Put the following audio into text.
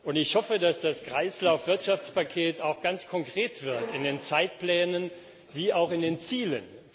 Und ich hoffe, dass das Kreislaufwirtschaftspaket auch ganz konkret wird, in den Zeitplänen wie auch in den Zielen.